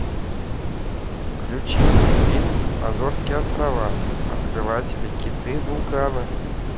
включи мне фильм азорские острова открыватели киты вулканы